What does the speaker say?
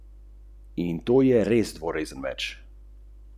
A tudi ta predlog po mnenju poznavalcev čaka enaka usoda kot prejšnja dva.